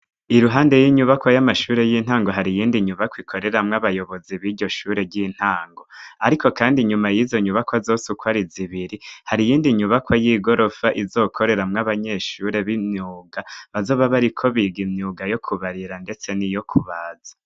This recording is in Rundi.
Iruhande y'inyubako y'amashure y'intango hari iyindi nyubako ikoreramwo abayobozi b'iryo shure ry'intango, ariko, kandi inyuma yizo nyubako azosukwara iz ibiri hari iyindi nyubako y'igorofa izokoreramwo abanyeshure b'imyuga bazoba bari ko biga imyuga yo kubarira, ndetse ni iyo kubaza.